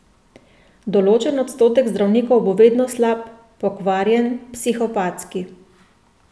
Določen odstotek zdravnikov bo vedno slab, pokvarjen, psihopatski.